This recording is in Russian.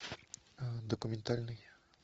документальный